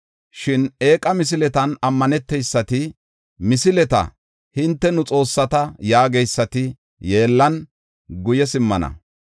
“Shin eeqa misiletan ammaneteysati, misileta, ‘Hinte nu xoossata’ yaageysati, yeellan guye simmana.